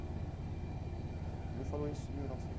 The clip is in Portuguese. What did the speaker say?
Ele me falou isso em mil